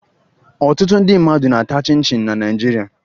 Ọtụtụ ndị mmadụ na-ata chịn chịn na Naịjirịa